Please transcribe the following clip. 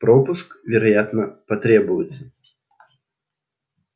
пропуск вероятно потребуется